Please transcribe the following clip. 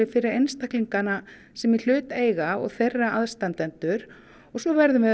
fyrir einstaklingana sem í hlut eiga og þeirra aðstandendur og svo verðum við